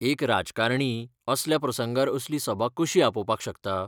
एक राजकारणी असल्या प्रसंगार असली सभा कशी आपोवपाक शकता?